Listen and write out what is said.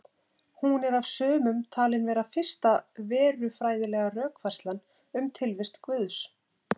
Hún er af sumum talin vera fyrsta verufræðilega rökfærslan um tilvist Guðs.